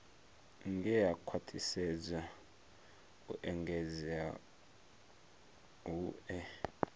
ngea khwathisedza u engedza hue